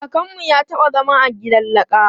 Kakanmu ya taɓa zama a gidan laka.